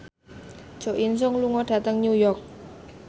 Jo In Sung lunga dhateng New York